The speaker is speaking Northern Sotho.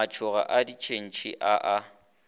matšhokgo a ditšhentšhi a a